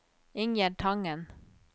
Ingjerd Tangen